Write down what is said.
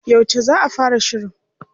Yauce za a fara shirin?